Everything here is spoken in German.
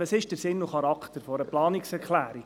Was ist der Sinn und Charakter einer Planungserklärung?